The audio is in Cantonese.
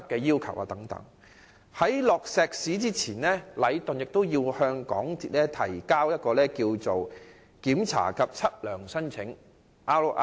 在傾倒石屎前，禮頓要向港鐵公司提交一份"檢查及測量申請"。